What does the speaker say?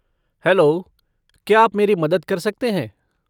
Hello, क्या आप मेरी मदद कर सकते हैं?